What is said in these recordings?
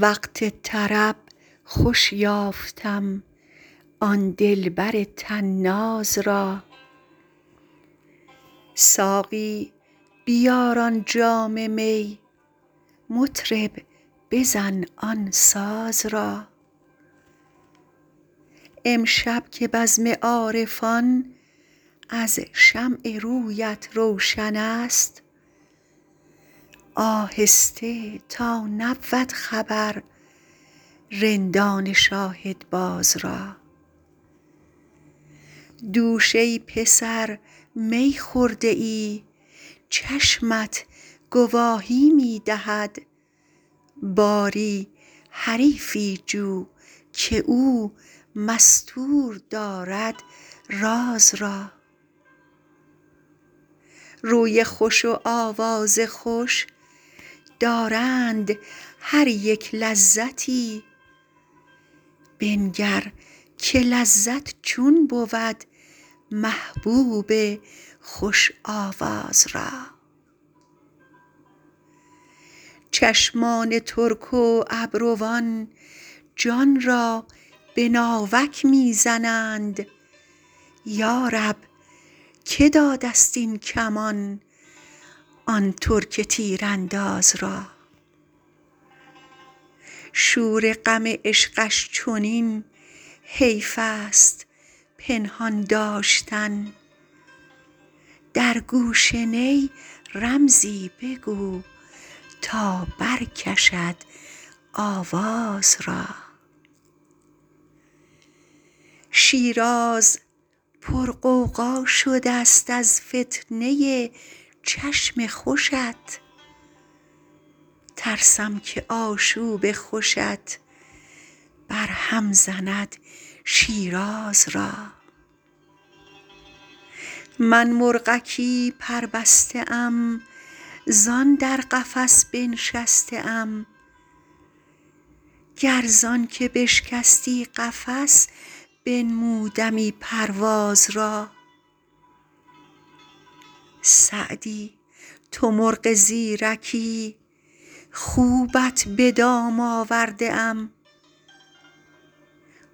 وقت طرب خوش یافتم آن دلبر طناز را ساقی بیار آن جام می مطرب بزن آن ساز را امشب که بزم عارفان از شمع رویت روشن است آهسته تا نبود خبر رندان شاهدباز را دوش ای پسر می خورده ای چشمت گواهی می دهد باری حریفی جو که او مستور دارد راز را روی خوش و آواز خوش دارند هر یک لذتی بنگر که لذت چون بود محبوب خوش آواز را چشمان ترک و ابروان جان را به ناوک می زنند یا رب که داده ست این کمان آن ترک تیرانداز را شور غم عشقش چنین حیف است پنهان داشتن در گوش نی رمزی بگو تا برکشد آواز را شیراز پرغوغا شده ست از فتنه ی چشم خوشت ترسم که آشوب خوشت برهم زند شیراز را من مرغکی پربسته ام زان در قفس بنشسته ام گر زان که بشکستی قفس بنمودمی پرواز را سعدی تو مرغ زیرکی خوبت به دام آورده ام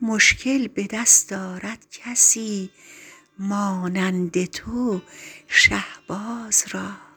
مشکل به دست آرد کسی مانند تو شهباز را